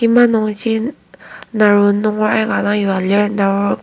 kima nungji naro nunger aika dang yua lir taserbo.